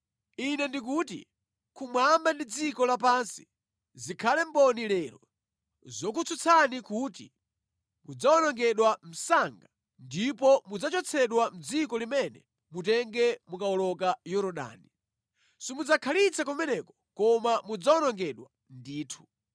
ine ndi kuti kumwamba ndi dziko lapansi zikhale mboni lero zokutsutsani kuti mudzawonongedwa msanga ndipo mudzachotsedwa mʼdziko limene mutenge mukawoloka Yorodani. Simudzakhalitsa kumeneko koma mudzawonongedwa ndithu.